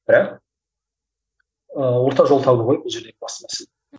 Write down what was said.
бірақ ыыы орта жол табу ғой бұл жерде басты мәселе